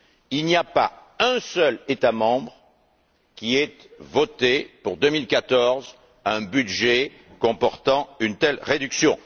Il n'y a pas un seul État membre qui ait voté, pour 2014, un budget comportant une telle réduction.